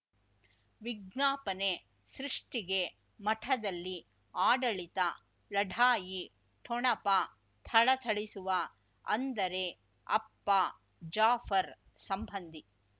ವಿಜ್ಞಾಪನೆ ಸೃಷ್ಟಿಗೆ ಮಠದಲ್ಲಿ ಆಡಳಿತ ಲಢಾಯಿ ಠೊಣಪ ಥಳಥಳಿಸುವ ಅಂದರೆ ಅಪ್ಪ ಜಾಫರ್ ಸಂಬಂಧಿ